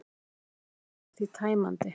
Þessi listi er því tæmandi.